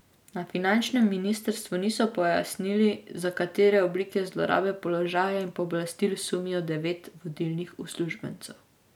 Na finančnem ministrstvu niso pojasnili, za katere oblike zlorabe položaja in pooblastil sumijo devet vodilnih uslužbencev.